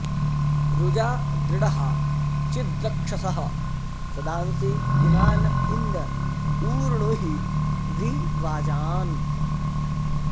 रुजा दृळ्हा चिद्रक्षसः सदांसि पुनान इन्द ऊर्णुहि वि वाजान्